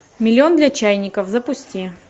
миллион для чайников запусти